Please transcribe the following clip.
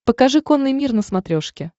покажи конный мир на смотрешке